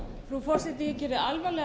frú forseti ég geri alvarlegar